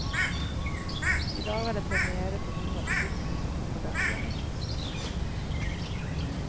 I dag er det première på noen av produktene som kommer derfra.